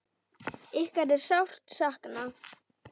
Ykkar er sárt saknað.